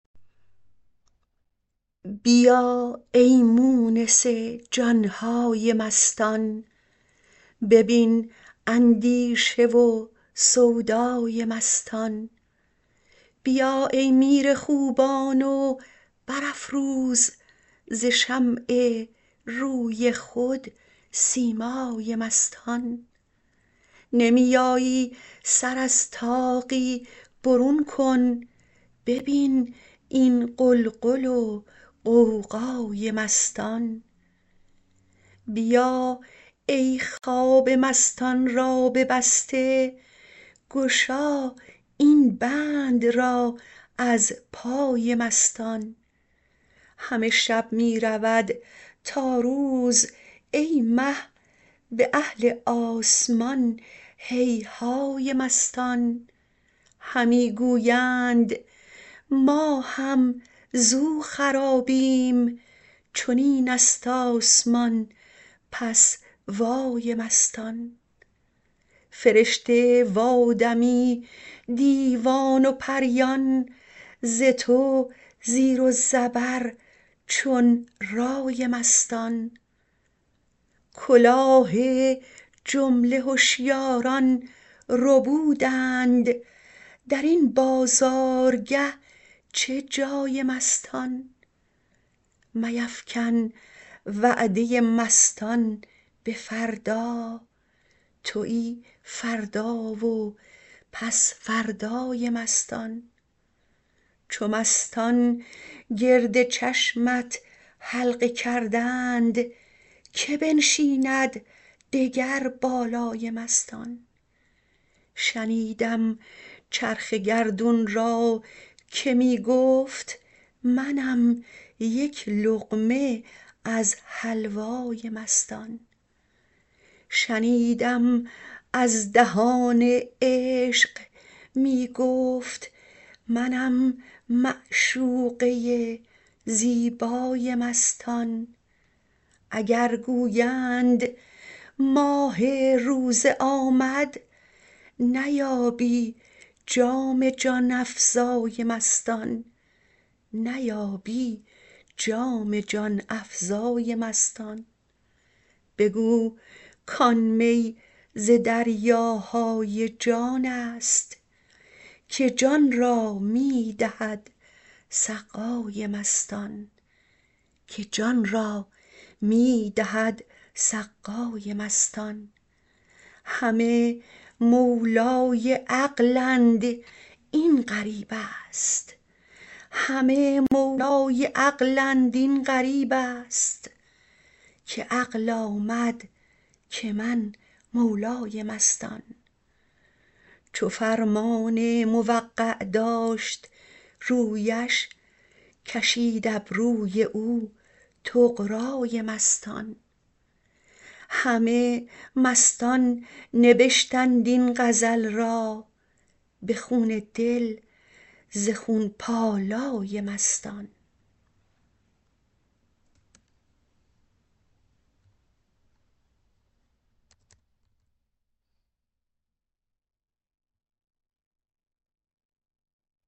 بیا ای مونس جان های مستان ببین اندیشه و سودای مستان بیا ای میر خوبان و برافروز ز شمع روی خود سیمای مستان نمی آیی سر از طاقی برون کن ببین این غلغل و غوغای مستان بیا ای خواب مستان را ببسته گشا این بند را از پای مستان همه شب می رود تا روز ای مه به اهل آسمان هیهای مستان همی گویند ما هم زو خرابیم چنین است آسمان پس وای مستان فرشته و آدمی دیوان و پریان ز تو زیر و زبر چون رای مستان کلاه جمله هشیاران ربودند در این بازارگه چه جای مستان میفکن وعده مستان به فردا توی فردا و پس فردای مستان چو مستان گرد چشمت حلقه کردند کی بنشیند دگر بالای مستان شنیدم چرخ گردون را که می گفت منم یک لقمه از حلوای مستان شنیدم از دهان عشق می گفت منم معشوقه زیبای مستان اگر گویند ماه روزه آمد نیابی جام جان افزای مستان بگو کان می ز دریاهای جان است که جان را می دهد سقای مستان همه مولای عقلند این غریب است که عقل آمد که من مولای مستان چو فرمان موقع داشت رویش کشید ابروی او طغرای مستان همه مستان نبشتند این غزل را به خون دل ز خون پالای مستان